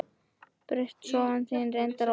Braut sófann þinn, reyndar óvart.